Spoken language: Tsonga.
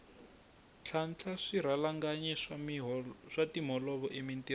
ntlhantlha swirhalanganyi swa timholovo emintirhweni